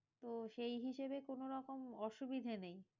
তো সেই হিসেবে কোনো রকম অসুবিধে নেই।